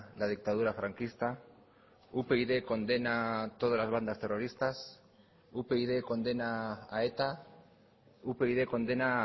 la dictadura franquista upyd condena todas las bandas terroristas upyd condena a eta upyd condena